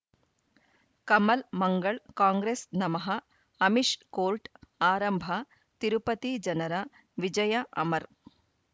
ಕಮಲ್ ಮಂಗಳ್ ಕಾಂಗ್ರೆಸ್ ನಮಃ ಅಮಿಷ್ ಕೋರ್ಟ್ ಆರಂಭ ತಿರುಪತಿ ಜನರ ವಿಜಯ ಅಮರ್